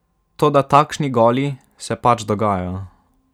Toda takšni goli se pač dogajajo.